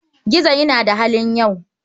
Gizo yana da halin yau.